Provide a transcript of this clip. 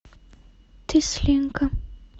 тесленко